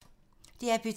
DR P2